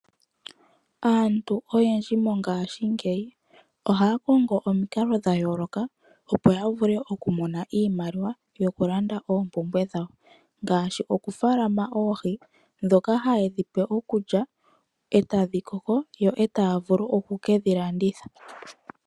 Aantu oyendji mongashingeyi oha kongo omikalo dha yoloka opo ya vule oku mona iimaliwa yoku landa oompumbwe dhawo. Ngaashi oku faalama oohi dhoka haye dhipe okulya etadhi koko eta vulu oku kedhi landitha.